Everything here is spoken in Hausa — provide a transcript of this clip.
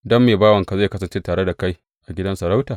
Don me bawanka zai kasance tare da kai a gidan sarauta?